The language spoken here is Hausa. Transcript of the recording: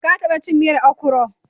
ka taba cin miyan okro?